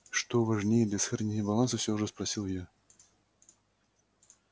что важнее для сохранения баланса всё же спросил я